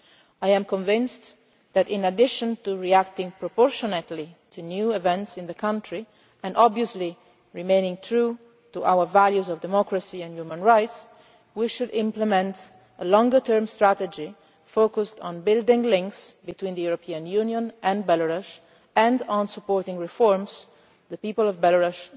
I am convinced that, in addition to reacting proportionately to new events in the country and, obviously, remaining true to our values of democracy and human rights, we should implement a longer term strategy focused on building links between the European Union and Belarus and on supporting the reforms the people of Belarus